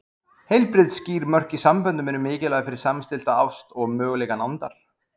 Heilbrigð, skýr mörk í samböndum eru mikilvæg fyrir samstillta ást og möguleika nándar.